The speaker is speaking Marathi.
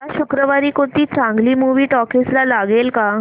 या शुक्रवारी कोणती चांगली मूवी टॉकीझ ला लागेल का